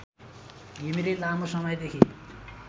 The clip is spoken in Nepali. घिमिरे लामो समयदेखि